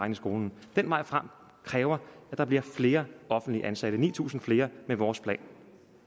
i skolen den vej frem kræver at der bliver flere offentligt ansatte ni tusind flere med vores plan